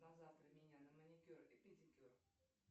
на завтра меня на маникюр и педикюр